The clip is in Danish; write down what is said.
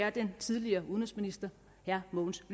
af den tidligere udenrigsminister herre mogens